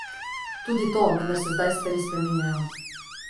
Tudi to, vendar se zdaj stvari spreminjajo.